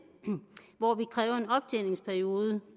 hvor vi kræver en optjeningsperiode